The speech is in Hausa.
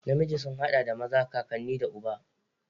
Namiji sun haɗa da maza, kakanni da uba.